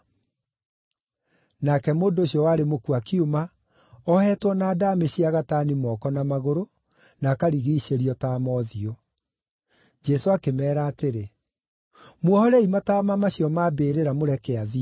Nake mũndũ ũcio warĩ mũkuũ akiuma, ohetwo na ndaamĩ cia gatani moko na magũrũ, na akarigiicĩrio taama ũthiũ. Jesũ akĩmeera atĩrĩ, “Muohorei mataama macio ma mbĩrĩra, mũreke athiĩ.”